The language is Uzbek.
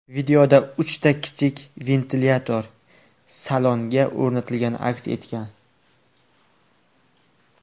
Videoda uchta kichik ventilyator salonga o‘rnatilgani aks etgan.